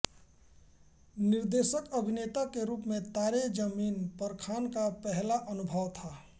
निर्देशकअभिनेता के रूप में तारे ज़मीन परखान का पहला अनुभव था